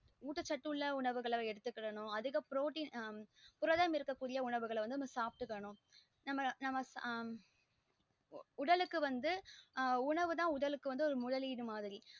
உட்ட சத்து உள்ள உணவு எடுத்துக்கணும் அதிக protein அப்றோம் புரதம் இருக்க கூடிய உணவுக எடுத்துக்கணும் நம்ம நம்ம உடலுக்கு வந்து உணவு த உடலுக்கு வந்து முதலிடு மாறி